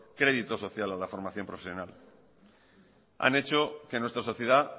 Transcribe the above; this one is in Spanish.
crédito social a la formación profesional han hecho que en nuestra sociedad